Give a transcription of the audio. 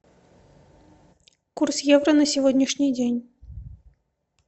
курс евро на сегодняшний день